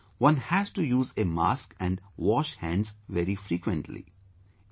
Secondly, one has to use a mask and wash hands very frequently